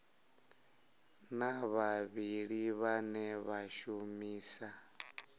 na vhavhali vhane vha shumisa